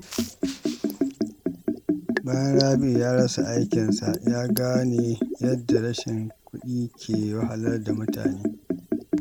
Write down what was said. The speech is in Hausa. Bayan Rabi’u ya rasa aikinsa, ya gane yadda rashin kudi ke wahalar da mutane.